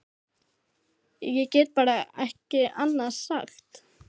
Ég get bara ekki annað sagt.